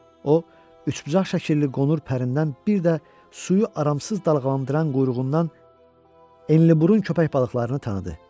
O, üçbucaşəkilli qonur pərindən bir də suyu amansız dalğalandıran quyruğundan enliburun köpək balıqlarını tanıdı.